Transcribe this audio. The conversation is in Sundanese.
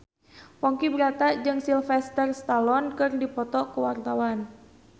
Ponky Brata jeung Sylvester Stallone keur dipoto ku wartawan